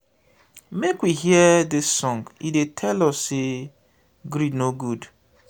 make we hear dis song e dey tell us sey greed no good.